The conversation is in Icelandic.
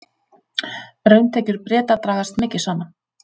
Rauntekjur Breta dragast mikið saman